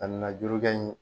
A na juru kɛ ɲi